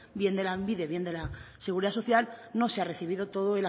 bien de lanbide bien de la seguridad social no se ha recibido toda